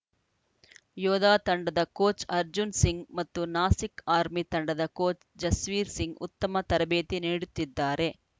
ಯೋಧಾ ತಂಡದ ಕೋಚ್‌ ಅರ್ಜುನ್‌ ಸಿಂಗ್‌ ಮತ್ತು ನಾಸಿಕ್‌ ಆರ್ಮಿ ತಂಡದ ಕೋಚ್‌ ಜಸ್ವೀರ್‌ ಸಿಂಗ್‌ ಉತ್ತಮ ತರಬೇತಿ ನೀಡುತ್ತಿದ್ದಾರೆ